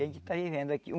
E a gente está vivendo aqui.